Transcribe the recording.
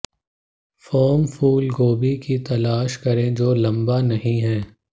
firm फूलगोभी की तलाश करें जो लम्बा नहीं है